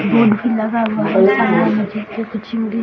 board भी लगा हुआ है --